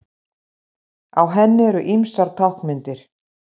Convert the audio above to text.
Á henni eru ýmsar táknmyndir.